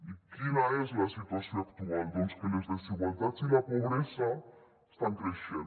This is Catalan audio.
i quina és la situació actual doncs que les desigualtats i la pobresa estan creixent